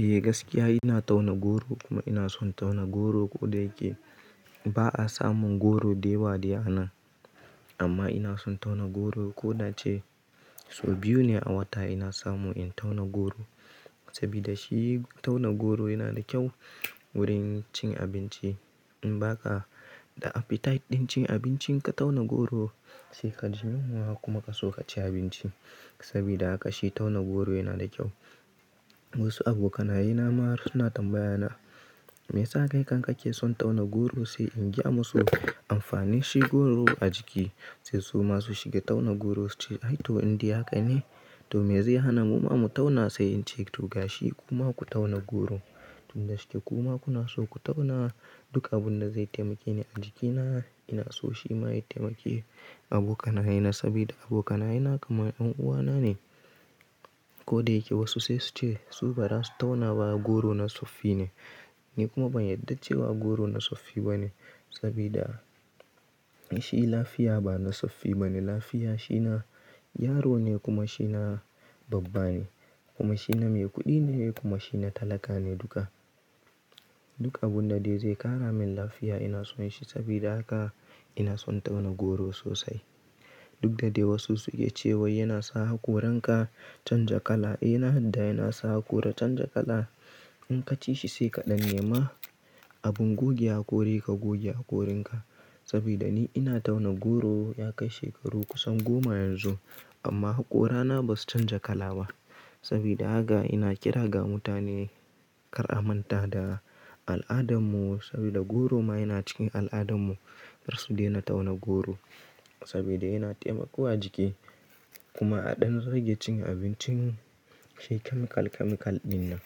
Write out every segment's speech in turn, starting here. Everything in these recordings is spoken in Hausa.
Eh gaskiya ina tauna goro kuma ina son tauna goro. Ko da yake ba a samun goro da yawa a nan, amma ina son tauna goro. Ko da a ce sau biyu ne a wata ina samu in tauna goro. Sabida shi tauna goro yana da kyau wurin cin abinci. In ba ka da appetite din cin abinci, ka tauna goro sai ka ji yunwa kuma ka so ka ci abinci. Sabida haka shi tauna goro yana da kyau. Wasu abokanaye na marar suna tambaya na, me ya sa ki kam kake son tauna goro? Sai in gaya musu amfanin shi goro a jiki sai su ma su shiga tauna goro. Sai ce, “Ai to in dai haka ne, to me zai hana mu ma mu tauna?” Sai in ce, “to ga shi kuma ku tauna goro duk da shine kuma kuna so ku tauna.” Duk abunda zai taimake ni a jikina ina so shi ma ya taimake abokanaye. Sabida abokanayena kamar yan uwana ne. Ko da yake wasu sai su ce su baza su tauna ba goro na tsoffi ne. Ni kuma ban yarda cewa goro na tsoffi ba ne. Sabida shi lafiya ba na tsoffi ba ne. Lafiya shi na yaro ne kuma shi na babba ne kuma shi na mai kuɗi ne kuma shi na talaka ne duka. Duk abunda dai zai ƙara min lafiya ina son shi. Sabida haka ina son tauna goro sosai. Duk da dai wasu suke cewa yana sa hakoranka canja kala. Eh ina yarda yana sa hakora canja kala. In ka ci shi sai ka dan nema abin goge hakori ka goge hakorinka. Sabida ni ina tauna goro ya kai shekaru kusan goma yanzu amma hakorana basu canja kala ba. Sabida haka ina kira ga mutane kar a manta da al'adarmu. Sabida goro ma yana cikin al'adarmu. Kar su daina tauna goro sabida yana taimakawa jiki kuma a ɗan rage cin abincin shi chemical chemical din nan.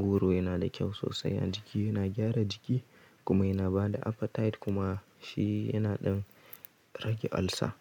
Goro yana da kyau sosai a jiki, yana gyara jiki kuma yana bada appetite kuma shi yana ɗan rage olsa.